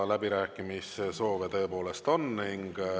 Läbirääkimissoove tõepoolest on.